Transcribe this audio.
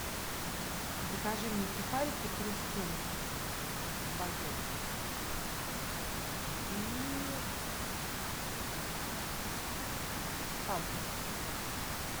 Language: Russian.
закажи мне сухарики хрустим багет и фанту